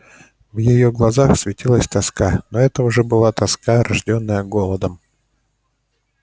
в её глазах светилась тоска но это уже не была тоска рождённая голодом